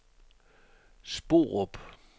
Sporup